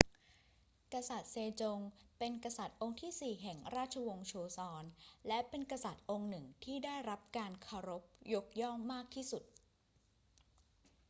กษัตริย์เซจงเป็นกษัตริย์องค์ที่สี่แห่งราชวงศ์โชซอน และเป็นกษัตริย์องค์หนึ่งที่ได้รับการเคารพยกย่องมากที่สุด